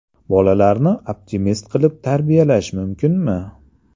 Bolalarni optimist qilib tarbiyalash mumkinmi?.